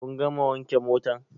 Kun gama wanke motan?